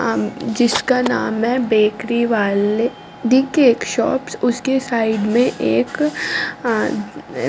जिसका नाम है बेकरी वाले दी केक शॉप्स उसके साइड में एक--